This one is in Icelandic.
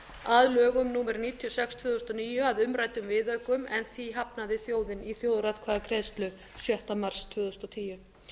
að lögum númer níutíu og sex tvö þúsund og níu að umræddum viðaukum en því hafnaði þjóðin í þjóðaratkvæðagreiðslu sjötta mars tvö þúsund og tíu